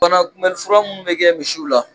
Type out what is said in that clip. banakunbɛli fura minnu bɛ kɛ misiw la